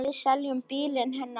Við seljum bílinn hennar þá.